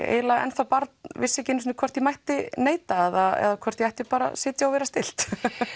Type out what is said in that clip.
eiginlega enn þá barn vissi ekki hvort ég mætti neita eða hvort ég ætti bara að sitja og vera stillt